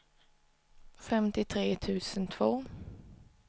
femtiotre tusen två